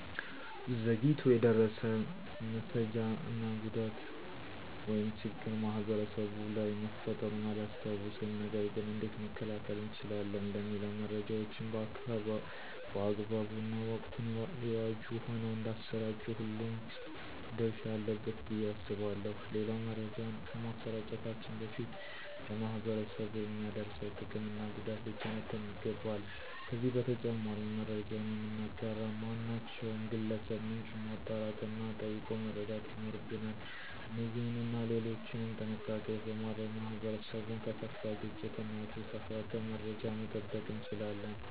ዘግይቶ የደረሰ መሰጃ እና ጉዳት ወይም ችግር ማህበረሰቡ ላይ መፈጠሩን አላስታውስም። ነገር ገን እንዴት መከላከል እንችላለን? ለሚለው መረጃዎችን በአግባቡ እና ወቅቱን የዋጁ ሆነው እንዳሰራጩ ሁሉም ድረሻ አለበት ብዬ አስባለሁ። ሌላው መረጃውን ከማሰራጨታችን በፊት ለማህበረሰቡ የሚያደርሰው ጥቅም እና ጉዳት ሊተነተን ይገባል። ከዚህ በተጨማሪም መረጃውን የምናጋራ ማናቸውም ግለሰብ ምንጩን ማጣራት እና ጠይቆ መረዳት ይኖርብናል። እነዚህንና ሌሎችም ጥንቃቄዎች በማድረግ ማህበረሰቡን ከከፋ ግጭት እና የተሳሳተ መረጃ መጠበቅ እንችላለን።